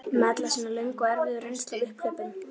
Með alla sína löngu og erfiðu reynslu af upphlaupum